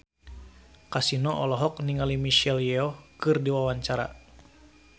Kasino olohok ningali Michelle Yeoh keur diwawancara